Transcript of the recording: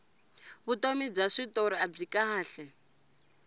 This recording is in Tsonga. vutomi bya switori abyi kahle